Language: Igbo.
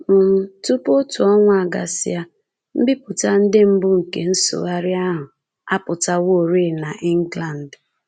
um Tupu otu ọnwa agasịa, mbipụta ndị mbụ nke nsụgharị ahụ apụtaworị n’England